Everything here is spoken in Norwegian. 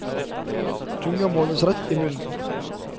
Tunga må holdes rett i munnen.